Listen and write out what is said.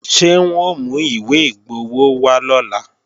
Ṣé wọ́n ó mú ìwé igbowó wá lọ́la